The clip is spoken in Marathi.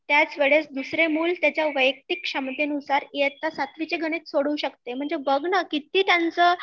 त्याच वेळेस दुसरे मुल त्यांच्या वयक्तिक क्षमतेनुसार इयत्ता ७वी चे गणित सोडवु शकते